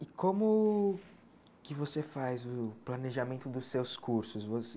E como que você faz o planejamento dos seus cursos?